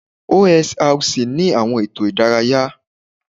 OSRC ni àwọn ètò ìdárayá